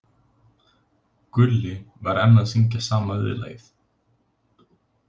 Gulli var enn að syngja sama viðlagið.